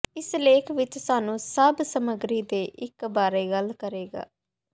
ਇਸ ਲੇਖ ਵਿਚ ਸਾਨੂੰ ਸਭ ਸਮੱਗਰੀ ਦੇ ਇੱਕ ਬਾਰੇ ਗੱਲ ਕਰੇਗਾ